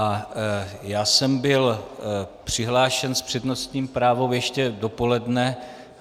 A já jsem byl přihlášen s přednostním právem ještě dopoledne.